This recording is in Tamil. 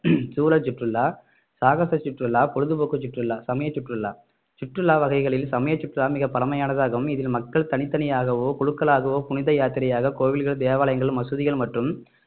சூழல் சுற்றுலா சாகச சுற்றுலா பொழுதுபோக்கு சுற்றுலா சமய சுற்றுலா வகைகளில் சமய சுற்றுலா மிக பழமையானதாகும் இதில் மக்கள் தனித்தனியாகவோ குழுக்களாகவோ புனித யாத்திரையாக கோவில்கள் தேவாலயங்கள் மசூதிகள் மற்றும்